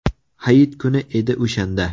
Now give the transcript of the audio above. Hayit kuni edi o‘shanda.